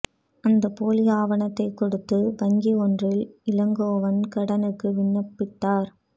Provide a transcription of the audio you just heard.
அந்த போலி ஆவணத்தைக் கொடுத்து வங்கி ஒன்றில் இளங்கோவன் கடனுக்கு விண்ணப்பித்தார்